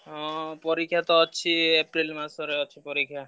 ହଁ ପରୀକ୍ଷାତ ଅଛି April ମାସରେ ଅଛି ପରୀକ୍ଷା।